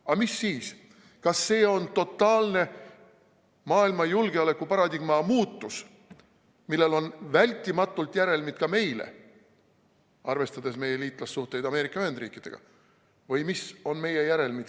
Aga mis siis, kas see on totaalne maailma julgeolekuparadigma muutus, millel on vältimatult järelmid ka meile, arvestades meie liitlassuhteid Ameerika Ühendriikidega?